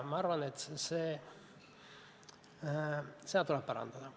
Ma arvan, et seda tuleb parandada.